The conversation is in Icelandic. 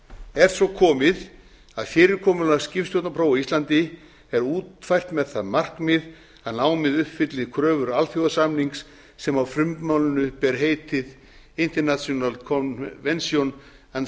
er svo komið að fyrirkomulag skipstjórnarprófa á íslandi er útfært með það markmið að námið uppfylli kröfur alþjóðasamnings sem á frummálinu ber heitið international convention on